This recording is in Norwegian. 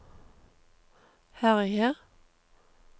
herje